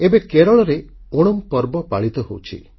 ଏବେ କେରଳରେ ଓଣାମ୍ ପର୍ବ ପାଳିତ ହେଉଛି